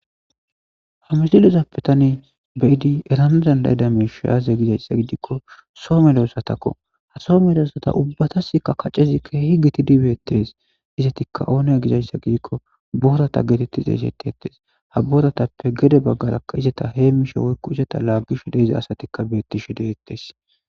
ha misilizappe tani beyidi eramizan dayida meshayaaze gizayssa gidikko soo meloossatakko ha soo meleossata ubbatasikka kaccezi keehi giti dibeettees izetikka ooneya gizayssa gidikko boorata geetettiza eshette ettees ha boratappe gede baggarakka izeta heem mishe woykko izeta laaggishu deeza asatikka beettishe deyettees